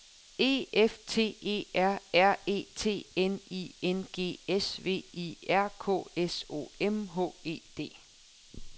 E F T E R R E T N I N G S V I R K S O M H E D